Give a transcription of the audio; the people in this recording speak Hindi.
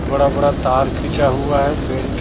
बड़ा बड़ा तार खींचा हुआ है पेंट --